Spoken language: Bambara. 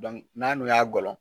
n'a n'o y'a gɔlɔn